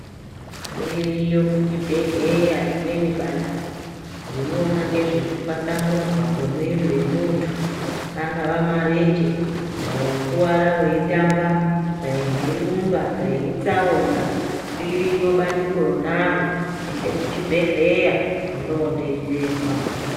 Ririyo kuchibhehleya rimweni bandiko rinoona ngezvekutwaswamudzw kwemwiri wemuntu angaa marenje dai wakuwara weitamba dai wairumba dai itsaona iriyo bandiko ronaro ende kuchibhehleya undoodetserrwa.